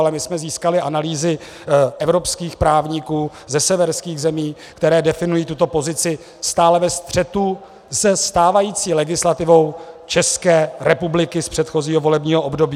Ale my jsme získali analýzy evropských právníků ze severských zemí, které definují tuto pozici stále ve střetu se stávající legislativou České republiky z předchozího volebního období.